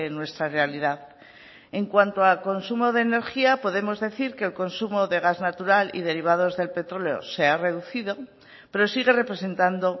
nuestra realidad en cuanto a consumo de energía podemos decir que el consumo de gas natural y derivados del petróleo se ha reducido pero sigue representando